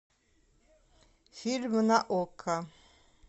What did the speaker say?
фильмы на окко